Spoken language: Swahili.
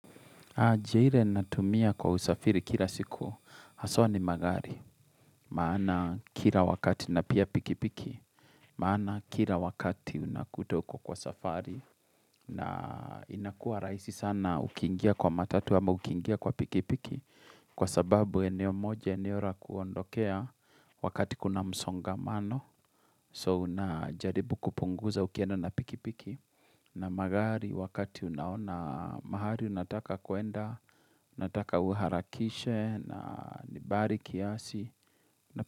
Njia ire natumia kwa usafiri kira siku, haswa ni magari, maana kila wakati na pia pikipiki, maana kira wakati unakuta uko kwa safari, na inakua rahisi sana ukingia kwa matatu ama ukingia kwa pikipiki, kwa sababu eneo moja eneo ra kuondokea wakati kuna msongamano, so unajaribu kupunguza ukienda na pikipiki, na magari wakati unaona mahali unataka kuenda unataka uharakishe na ni bari kiasi.